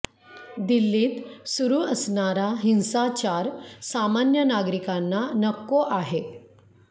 दिल्लीत सुरू असणारा हिंसाचार सामान्य नागरिकांना नको आहे